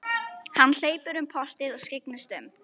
Hann hleypur um portið og skyggnist um.